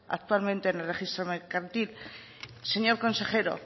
actualmente en el registro mercantil señor consejero